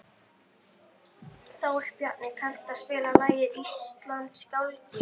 Þórbjarni, kanntu að spila lagið „Íslandsgálgi“?